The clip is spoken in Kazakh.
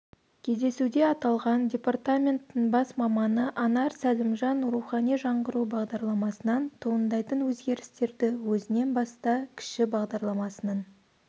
кездесуде аталған департаменттің бас маманы анар сәлімжан рухани жаңғыру бағдарламасынан туындайтын өзгерістерді өзіңнен баста кіші бағдарламасының